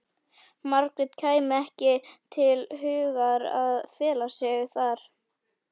Margréti kæmi ekki til hugar að fela sig þar.